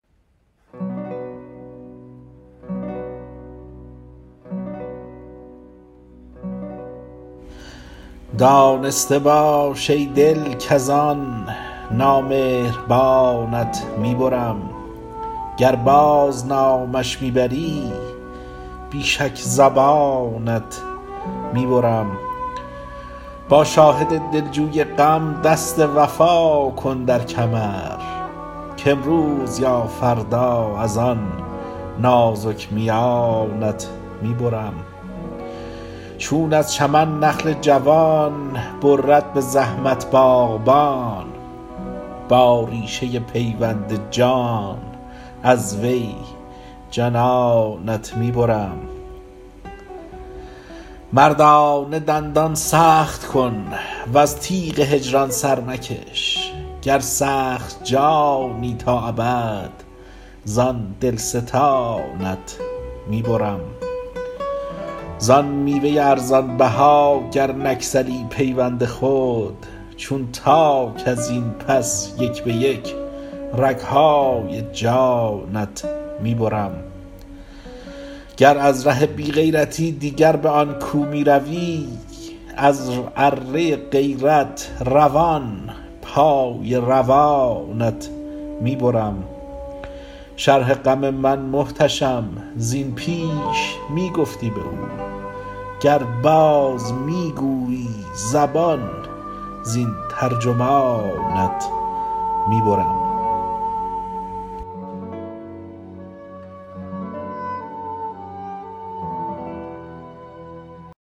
دانسته باش ای دل کزان نامهربانت می برم گر باز نامش می بری بی شک زبانت می برم با شاهد دلجوی غم دست وفا کن در کمر کامروز یا فردا از آن نازک میانت می برم چون از چمن نخل جوان برد به زحمت باغبان با ریشه پیوند جان از وی جنانت می برم مردانه دندان سخت کن وز تیغ هجران سر مکش گر سخت جانی تا ابد زان دلستانت می برم زان میوه ارزان بها گر نگسلی پیوند خود چون تاک ازین پس یک به یک رگهای جانت می برم گر از ره بی غیرتی دیگر به آن کو می روی از اره غیرت روان پای روانت می برم شرح غم من محتشم زین پیش می گفتی به او گر باز می گویی زبان زین ترجمانت می برم